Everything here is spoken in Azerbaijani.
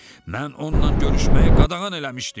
Mən onunla görüşməyi qadağan eləmişdim.